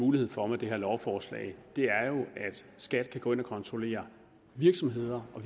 mulighed for med det her lovforslag er at skat kan gå ind og kontrollere virksomheder og